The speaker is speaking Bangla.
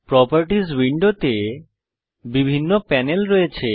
প্রোপার্টিস উইন্ডোতে বিভিন্ন প্যানেল রয়েছে